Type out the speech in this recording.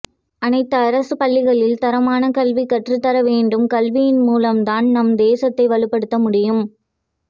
அனைத்து அரசு பள்ளிகளில் தரமான கல்வி கற்றுத்தர வேண்டும் கல்வியின் மூலம்தான் நம் தேசத்தை வலுப்படுத்த முடியும்